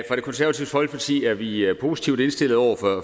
det konservative folkepartis side er vi positivt indstillet over for